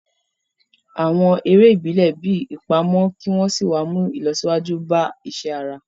Àwọn eré ìbílẹ̀ bíi ìpamọ́ kí wọ́n sì wá ń mú ìlọsíwájú bá iṣẹ́ ara